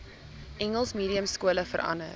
engels mediumskole verander